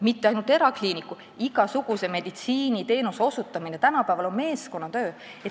Mitte ainult erakliiniku loomine, vaid igasuguse meditsiiniteenuse osutamine on tänapäeval meeskonnatöö.